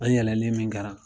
An yɛlɛlen min kɛra.